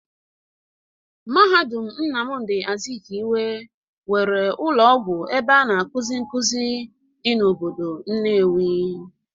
Mahadum Nnamdi Azikiwe nwere ụlọ ọgwụ ebe a na-akuzi nkuzi dị n'obodo Nnewi.